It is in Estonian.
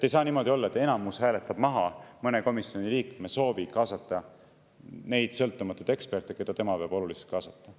Ei saa niimoodi olla, et enamus hääletab maha komisjoni liikme soovi kaasata neid sõltumatuid eksperte, keda tema peab oluliseks kaasata.